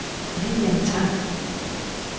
William Tang